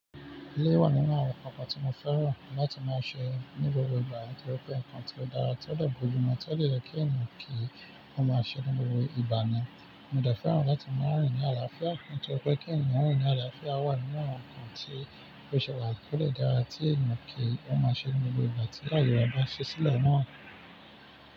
Ilé wà nínú àwọn nnkan tí mo fẹ́ràn láti máa ṣe ní gbogbo ìgbà kí ó pé nǹkan tí ó dára to de bojumu e, tolẹ̀ kí mọ̀ kí wọ́n máa ṣe ní gbogbo ìgbà ni. Mo dẹ̀ fẹ́ràn láti máa rìn ní àlàáfíà, pé kí yan rìn ní àlàáfíà wà nínú àwọn nnkan tí ó ṣe wà tó lè dára tí yan kí wọ́n máa ṣe ní gbogbo ìgbà tí láyè ọba ṣe sílẹ̀ mọ́ wọn.